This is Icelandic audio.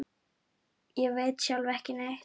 Ég veit sjálf ekki neitt.